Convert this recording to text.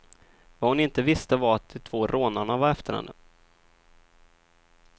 Vad hon inte visste var att de två rånarna var efter henne.